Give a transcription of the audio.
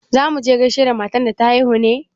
Za mu je gaishe da matan da ta haihu ne?